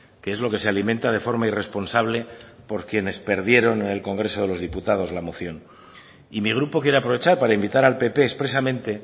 que es lo que se alimenta de forma irresponsable por quienes perdieron en el congreso de los diputados la moción y mi grupo quiere aprovechar para invitar al pp expresamente